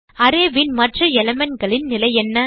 array ன் மற்ற elementகளின் நிலை என்ன